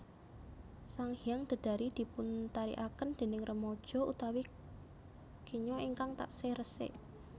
Sanghyang Dedari dipuntarikaken déning remaja utawi kenya ingkang taksih resik